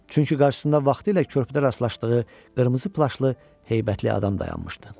Çünki qarşısında vaxtilə körpüdə rastlaşdığı qırmızı plaşlı heybətli adam dayanmışdı.